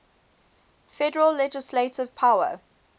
federal legislative power